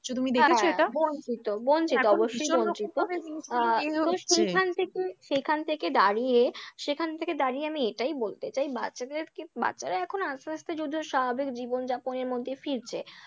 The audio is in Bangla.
তুমি দেখেছো এটা? হ্যাঁ, বঞ্চিত বঞ্চিত অবশ্যই বঞ্চিত, ভীষণরকম ভাবে সেখান থেকে সেখান থেকে দাঁড়িয়ে সেখান থেকে দাঁড়িয়ে আমি এটাই বলতে চাই বাচ্চাদেরকে বাচ্চারা এখন আস্তে আস্তে যদিও স্বাভাবিক জীবনযাপনের মধ্যে ফিরছে।